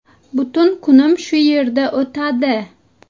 Butun kunim shu yerda o‘tadi.